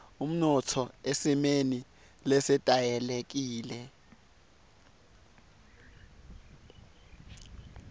umnotfo esimeni lesetayelekile